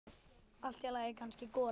Allt í lagi, kannski golan.